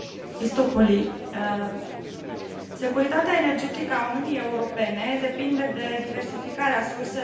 Securitatea energetică a Uniunii Europene depinde de diversificarea surselor și a rutelor de aprovizionare cu energie.